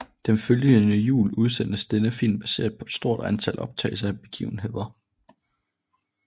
Den følgende jul udsendtes denne film baseret på et stort antal optagelser af begivenhederne